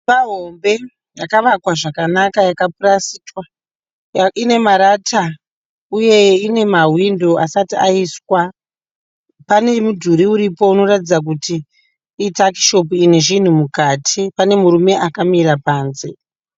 Imba hombe yakavakwa zvakanaka yakaprastwa, ine marata uye ine mawindow asati aiswa. Pane mudhuri inoratidza kuti ituckshop ine zvinhu mukati pane murume akamira panze.